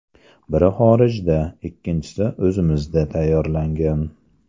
Biri xorijda, ikkinchisi o‘zimizda tayyorlangan.